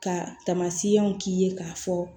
Ka taamasiyɛnw k'i ye k'a fɔ